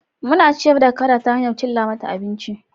Muna ciyar da kada ta hanyar cilla mata abinci